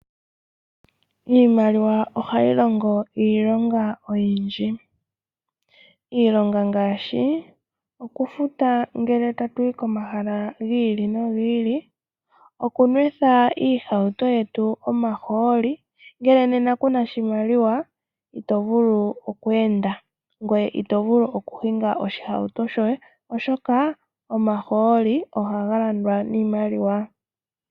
Iimaliwa ohayi longo iilonga oyindji, iilonga ngaashi, okufuta ngele tatuyi komahala gi ili nogi ili, okunwetha iihauto yetu omahooli, ngele nena kuna oshimaliwa ito vulu oku enda ngoye ito vulu okuhinga oshihauto shoye oshoka omahooli ohagalandwa niimaliwa.